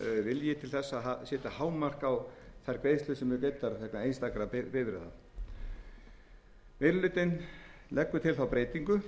setja hámark á þær greiðslur sem eru greiddar vegna einstakra bifreiða meiri hlutinn leggur til þá breytingu